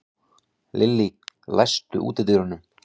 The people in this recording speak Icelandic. Lillý, læstu útidyrunum.